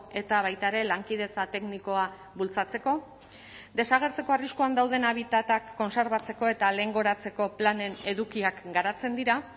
eta baita ere lankidetza teknikoa bultzatzeko desagertzeko arriskuan dauden habitatak kontserbatzeko eta lehengoratzeko planen edukiak garatzen dira